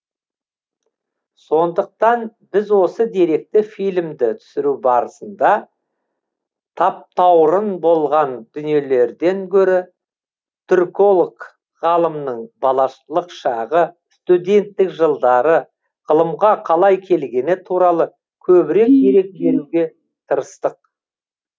сондықтан біз осы деректі фильмді түсіру барысында таптаурын болған дүниелерден гөрі түрколог ғалымның балалық шағы студенттік жылдары ғылымға қалай келгені туралы көбірек дерек беруге тырыстық